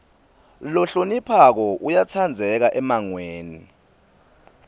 lohloniphako uyatsandzeka emmangweni